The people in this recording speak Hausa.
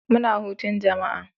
Muna hutun jama'a.